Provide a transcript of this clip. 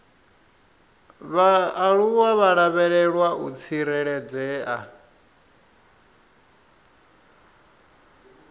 vhaaluwa vha lavhelwa u tsireledzea